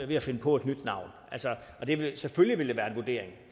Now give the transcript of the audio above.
ved at finde på et nyt navn og det vil selvfølgelig være en vurdering